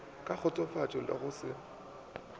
ka kgotsofatšo le go se